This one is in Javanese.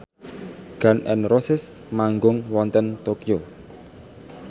Gun n Roses manggung wonten Tokyo